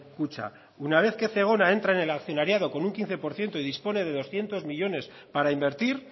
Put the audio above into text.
kutxa una vez que zegona entra en el accionariado con un quince por ciento y dispone de doscientos millónes para invertir